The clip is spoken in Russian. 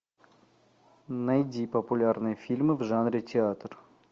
найди популярные фильмы в жанре театр